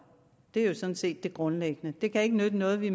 det er jo sådan set det grundlæggende det kan ikke nytte noget at vi